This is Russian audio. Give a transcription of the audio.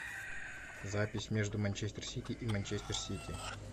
запись между манчестер сити и манчестер сити